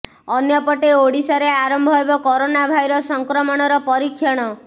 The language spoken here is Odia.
ଅନ୍ୟପଟେ ଓଡିଶାରେ ଆରମ୍ଭ ହେବ କରୋନା ଭାଇରସ୍ ସଂକ୍ରମଣର ପରୀକ୍ଷଣ